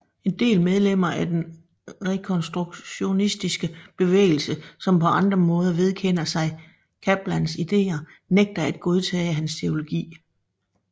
En del medlemmer af den rekonstruktionistiske bevægelse som på andre måder vedkender sig Kaplans idéer nægter at godtage hans teologi